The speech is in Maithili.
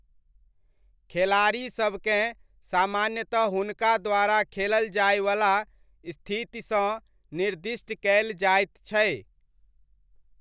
खेलाड़ीसबकेँ सामान्यतः हुनका द्वारा खेलल जाइवला स्थितिसँ निर्दिष्ट कयल जाइत छै।